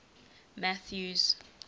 mathews